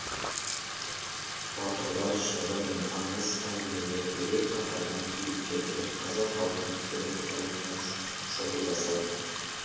батырлар жыры мен аңыз әңгімелердегі қаһарман кейіпкерлер қазақ халқының терең тарихына шолу жасады